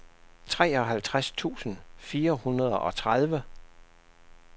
treoghalvtreds tusind fire hundrede og tredive